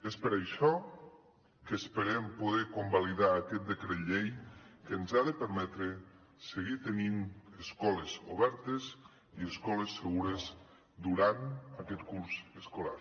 és per això que esperem poder convalidar aquest decret llei que ens ha de permetre seguir tenint escoles obertes i escoles segures durant aquest curs escolar